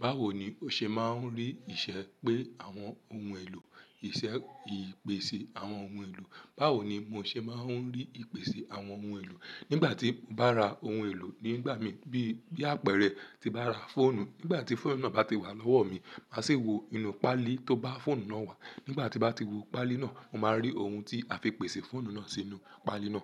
Báwo ni o ṣe máa ń rí ìṣe pé àwọn ohun èlò, ìṣe ìpèsè àwọn ohun èlò. Báwo ni mo ṣe máa ń rí ìpèsè àwọn ohun èlò. Nígbà tí mo bá ra ohun èlò nígbà mi bí, bí àpẹẹrẹ ti bá ra fóònù. Nígbà tí fóònù náà bá ti wà lọ́wọ́ mi, màá sì wo inú páálí tó bá fóònù náà wà. Nígbà tí màá ti wo páálí náà, mo máa rí ohun tí a fi pèsè fóònù náà sínú páálí náà.